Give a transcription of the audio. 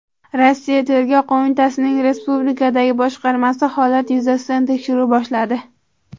Rossiya Tergov qo‘mitasining respublikadagi boshqarmasi holat yuzasidan tekshiruv boshladi.